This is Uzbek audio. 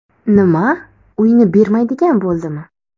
Nima, uyni bermaydigan bo‘ldimi?